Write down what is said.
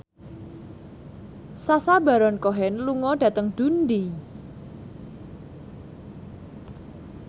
Sacha Baron Cohen lunga dhateng Dundee